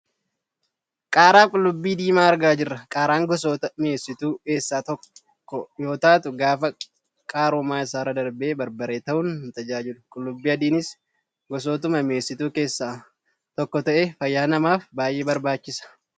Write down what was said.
Qaaraa fi qullubbii diimaa argaa jirra. qaaraan gosoota mieessituu eessaa tokko yoo taatu gaafa qaarummaa isaarra darbe barbaree ta'uun nu tajaajila. Qullubbii adiinis gosootuma mi'eessituu keessaa tokko ta'ee fayyaa namaaf baayyee barbaachisa.